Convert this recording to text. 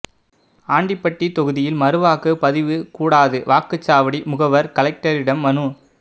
ஆண்டிபட்டி தொகுதியில் மறுவாக்குப்பதிவு கூடாது வாக்குச்சாவடி முகவர் கலெக்டரிடம் மனு